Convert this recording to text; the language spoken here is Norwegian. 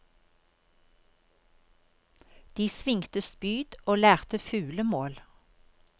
De svingte spyd og lærte fuglemål.